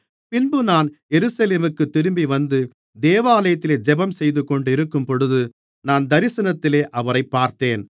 பின்பு நான் எருசலேமுக்குத் திரும்பிவந்து தேவாலயத்திலே ஜெபம் செய்துகொண்டிருக்கும்போது நான் தரிசனத்திலே அவரைப் பார்த்தேன்